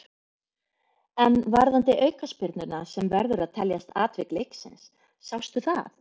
En varðandi aukaspyrnuna sem verður að teljast atvik leiksins, sástu það?